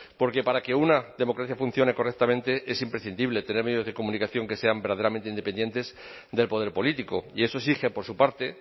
porque para que una democracia funcione correctamente es imprescindible tener medios de comunicación que sean verdaderamente independientes del poder político y eso exige por su parte